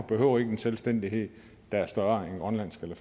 behøver en selvstændighed der er større end grønlands eller